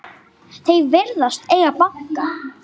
Þeir virðast eiga banka.